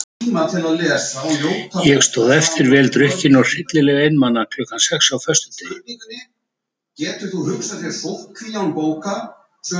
Ég stóð eftir vel drukkin og hryllilega einmana klukkan sex á föstudegi.